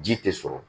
Ji tɛ sɔrɔ